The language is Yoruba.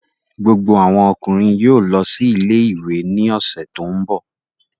Gbogbo àwọn ọkùnrin yóò lọ sí ilé-ìwé ní ọ̀sẹ̀ tó ń bọ̀